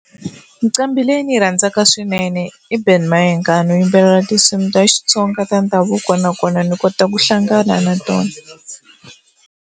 Nqambhi leyi ndzi yi rhandzaka swinene i Benny Mayengani u yimbelela tinsimu ta Xitsonga ta ndhavuko nakona ni kota ku hlangana na tona.